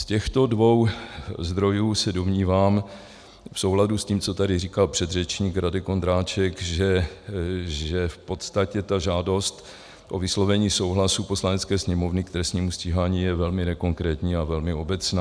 Z těchto dvou zdrojů se domnívám v souladu s tím, co tady říkal předřečník Radek Vondráček, že v podstatě ta žádost o vyslovení souhlasu Poslanecké sněmovny k trestnímu stíhání je velmi nekonkrétní a velmi obecná.